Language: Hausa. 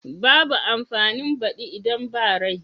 Babu amfanin badi idan ba rai.